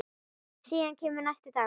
Síðan kemur næsti dagur.